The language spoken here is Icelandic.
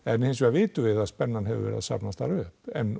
vitum við að spennan hefur safnast þar upp en